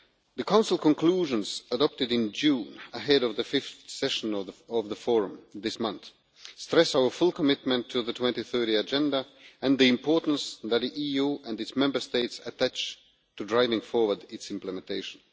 The Council conclusions adopted in June, ahead of the fifth session of the forum this month, stress our full commitment to the 2030 Agenda and the importance that the EU and its Member States attach to driving forward its implementation.